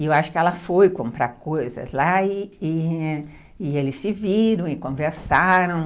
E eu acho que ela foi comprar coisas lá e e eles se viram e conversaram.